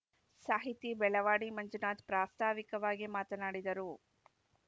ಸಾಹಿತಿ ಬೆಳವಾಡಿ ಮಂಜುನಾಥ್‌ ಪ್ರಾಸ್ತಾವಿಕವಾಗಿ ಮಾತನಾಡಿದರು